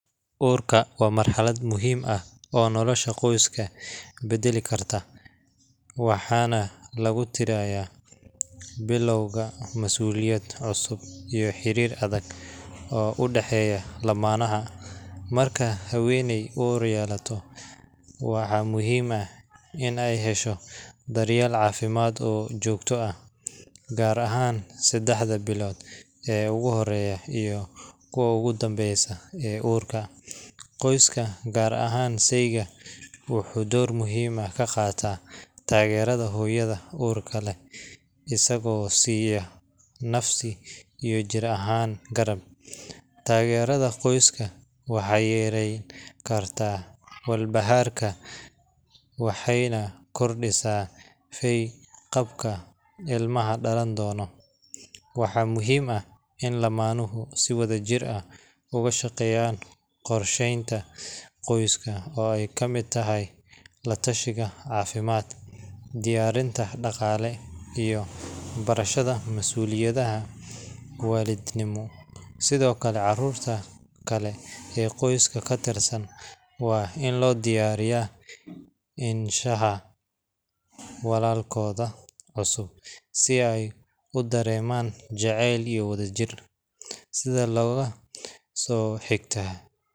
Uurka waa marxalad muhiim ah, waxaan lagu tiraya biloowga masuuliyad cusub, waxaa muhiim ah inaay hesho daryeel fican, qoyska wuxuu door muhiim ka qaata asago siiya garab, tagerada qoyska waxaay yareen kartaa walwalka, waxaa muhiim ah in lamanuhu si wadajir ah ugu shaqeeyan, cafimaad diyarinta daqaale iyo barashada waladnimo, walalkooda cusub si aay udareeman jaceyl iyo wadajir.